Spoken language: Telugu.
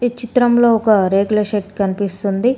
ఈ చిత్రంలో ఒక రేకుల షెడ్ కనిపిస్తుంది.